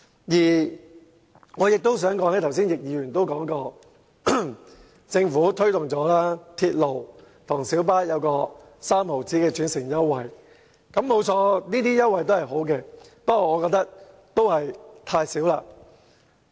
此外，正如剛才易議員所說，政府已推動港鐵公司與小巴提供每程3角的轉乘優惠，提供優惠當然好，但我仍嫌優惠太少。